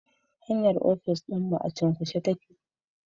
Hanyar ofis dinmu a cunkushe yake